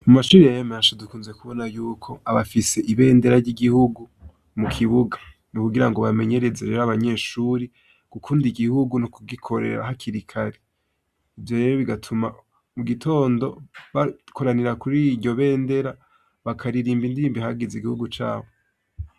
Amashuri menshi dukunze kubona hafise ibendera ryigihugu mukibuga mukugirango bamenyereze abanyeshuri gukunda igihugu no gukunda kugikorera hakiri kare ivyo rero biratuma mugitondo bakoranira kuriryo bendera bakaririmba indirimbo ihayagiza igihugu cayo